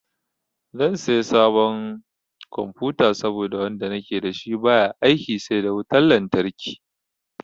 Zan saya sabon confuta saboda wanda nake da shi baya aiki sai da wutan lantarki.